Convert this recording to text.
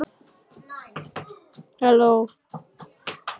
Hafþór Gunnarsson: Hverjir eru bestir í ár?